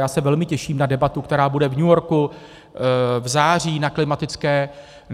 Já se velmi těším na debatu, která bude v New Yorku v září